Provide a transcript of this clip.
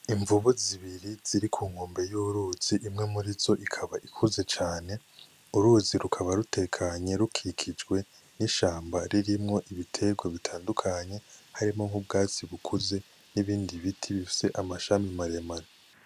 Imvubu zibiri ziri ku nkombe y'uruzi imwe murizo ikaba ikuze cane, uruzi rukaba rutekanye rukikijwe n'ishamba ririmwo ibiterwa bitandukanye harimwo nk'ubwatsi bukuze nibindi biti bifise amashami maremare.